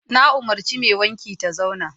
Na umarci mai wanki ta zauna!